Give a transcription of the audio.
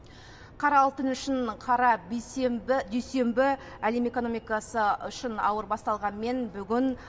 қара алтын үшін қара дүйсенбі әлем экономикасы үшін ауыр басталғанымен бүгін